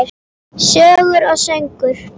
Sögur og söngur.